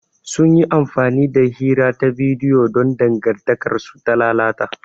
Sun yi amfani da hira ta bidiyo don dangantakarsu ta lalata.